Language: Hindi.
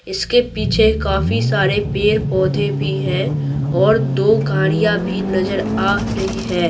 इसके पीछे काफी सारे पेड़-पौधे भी हैं और दो गाड़ियां भी नजर आ रही है।